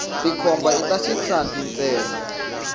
tikhomba ita xisati ntsena